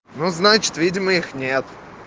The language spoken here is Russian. ну значит видимо их нет